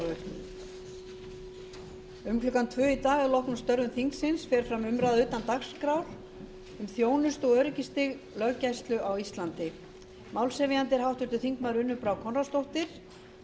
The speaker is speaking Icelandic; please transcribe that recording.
um klukkan tvö í dag að loknum störfum þingsins fer fram umræða utan dagskrár um þjónustu og öryggisstig löggæslu á íslandi málshefjandi er háttvirtur þingmaður unnur brá konráðsdóttir